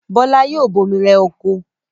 Bọ́lá yoo bomi rẹ oko.